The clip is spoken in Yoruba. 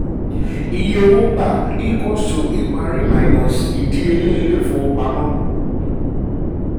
iye owó um gbà = ìparí - um ìdíyelé ilé-ìfowópamọ́